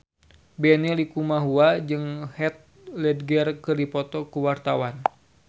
Benny Likumahua jeung Heath Ledger keur dipoto ku wartawan